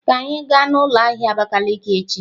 Ka anyị gaa n'ụlọ ahịa Abakiliki echi!